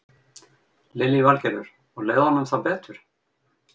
Lillý Valgerður: Og leið honum þá betur?